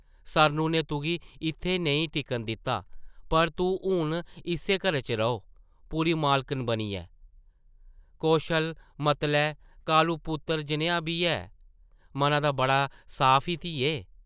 सरनु नै तुगी इत्थै नेईं टिकन दित्ता, पर तूं हून इस्सै घरै च रौह्; पूरी मालकन बनियै । कौशल... मतलै ... कालू पुत्तर जनेहा बी है, मना दा बड़ा साफ ई, धिये ।